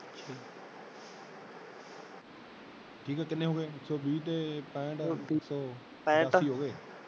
ਠੀਕ ਆ ਕਿੰਨੇ ਹਿਗੇ ਇਕ ਸੋ ਵੀ ਤੇ ਪੈਂਠ ਇਕ ਸੋ ਪਚਾਸੀ ਹੋਗੇ।